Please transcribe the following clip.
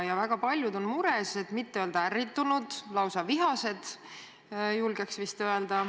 Väga paljud on mures, et mitte öelda ärritunud, lausa vihased.